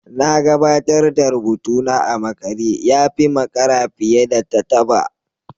Na gabatar da rubutuna a makare ya fi makara fiye da taba